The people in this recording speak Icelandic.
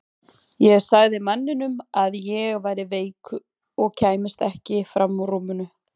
Ég sagði manninum að ég væri veik og kæmist ekki fram úr rúminu.